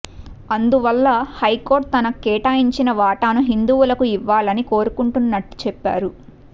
అందువల్ల హైకోర్టు తనకు కేటాయించిన వాటాను హిందువులకు ఇవ్వాలని కోరుకుంటున్నట్టు చెప్పారు